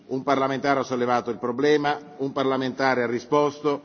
Un parlamentare ha sollevato il problema, un parlamentare ha risposto.